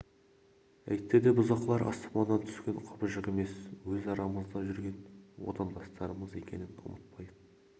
әйтседе бұзақылар аспаннан түскен құбыжық емес өз арамызда жүрген отандастарымыз екенін ұмытпайық